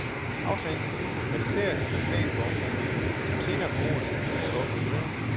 Aftalen skal nu konkretiseres i en plan for området, som senere på året sendes ud til offentlig høring.